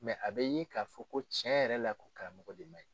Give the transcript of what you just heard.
a bɛ ye ka fɔ ko cɛn yɛrɛ la ko karamɔgɔ de ma